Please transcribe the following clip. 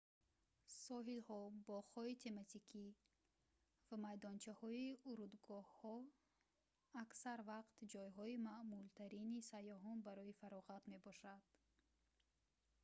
соҳилҳо боғҳои тематикӣ ва майдончаҳои урдугоҳҳо аксар вақт ҷойҳои маъмултарини сайёҳон барои фароғат мебошанд